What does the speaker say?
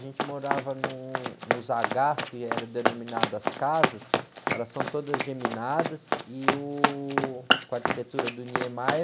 A gente morava num, nos agás, que eram denominadas as casas, elas são todas geminadas, e, uh, com a arquitetura do Niemeyer,